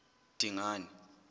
dingane